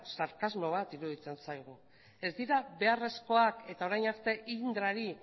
sarkasmo bat iruditzen zaigu ez dira beharrezkoak eta orain arte indrari